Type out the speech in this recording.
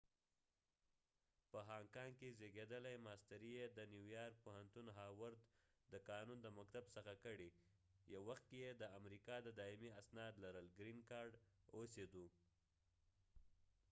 په هانګ کانګ کې زیږیدلی ماستری یې د نیو یارک د پوهنتون د هاورد د قانون د مکتب څخه کړي یو وخت کې یې د امریکا د دایمی اوسیدو green card اسناد لرل